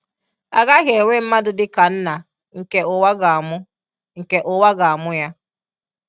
A gaghị enwe mmadụ dị ka nna nke ụwa ga-amụ nke ụwa ga-amụ ya.